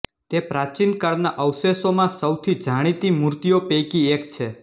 તે પ્રાચીનકાળના અવશેષોમાં સૌથી જાણીતી મૂર્તિઓ પૈકી એક છે